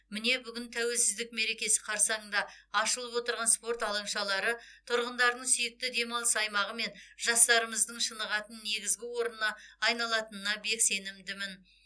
міне бүгін тәуелсіздік мерекесі қарсаңында ашылып отырған спорт алаңшалары тұрғындарының сүйікті демалыс аймағы мен жастарымыздың шынығатын негізгі орнына айналатынына бек сенімдімін